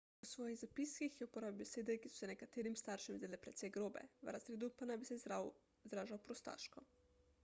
v svojih zapiskih je uporabil besede ki so se nekaterim staršem zdele precej grobe v razredu pa naj bi se izražal prostaško